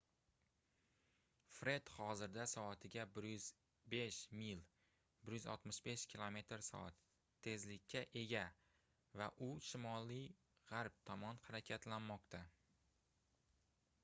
fred hozirda soatiga 105 mil 165 km/s tezlikka ega va u shimoliy-g'arb tomon harakatlanmoqda